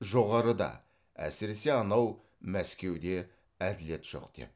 жоғарыда әсіресе анау мәскеуде әділет жоқ деп